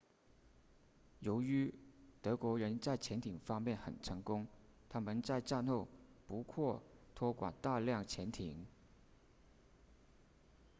由于德国人在潜艇方面很成功他们在战后不获托管大量潜艇